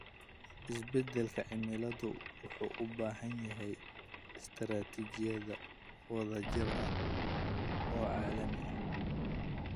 Isbedelka cimiladu wuxuu u baahan yahay istiraatiijiyad wadajir ah oo caalami ah.